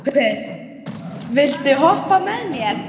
Sophus, viltu hoppa með mér?